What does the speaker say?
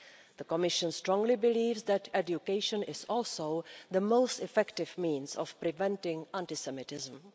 The Commission strongly believes that education is also the most effective means of preventing antisemitism.